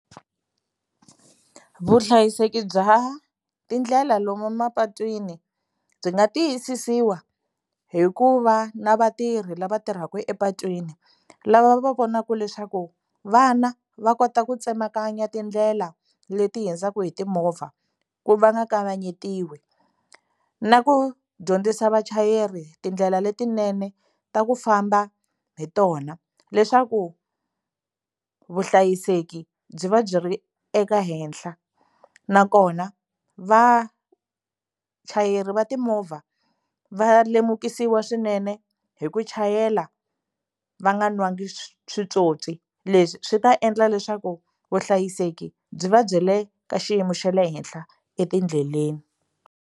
Vuhlayiseki bya tindlela lomu mapatwini byi nga tiyisisiwa hi ku va na vatirhi lava tirhaka epatwini lava va vonaka leswaku vana va kota ku tsemakanya tindlela leti hundzaka hi timovha ku va nga kavanyetiwi na ku dyondzisa vachayeri tindlela letinene ta ku famba hi tona leswaku vuhlayiseki byi va byi ri eka henhla nakona vachayeri va timovha va lemukisiwa swinene hi ku chayela va nga nwanga switswotswi leswi swi ta endla leswaku vuhlayiseki byi va byi le ka xiyimo xa le henhla etindleleni.